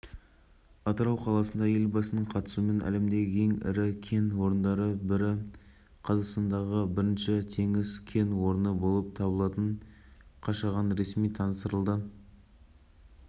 естеріңізге сала кететін болсақ әкімшілік полиция комитетінде желтоқсаннан бастап көліктерінің резиналары тікенді болып бірақ белгісі көліктің